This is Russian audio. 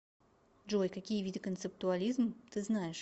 джой какие виды концептуализм ты знаешь